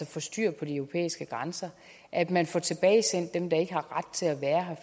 får styr på de europæiske grænser og at man får tilbagesendt dem der ikke har ret til at være her